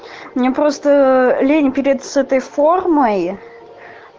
мне просто лень переться с этой формой